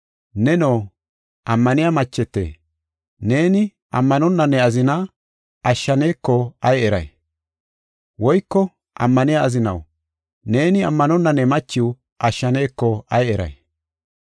Neno, ammaniya machete, neeni ammanonna ne azina ashshaneko ay eray? Woyko ammaniya azinaw, neeni ammanonna ne machiw ashshaneko ay eray?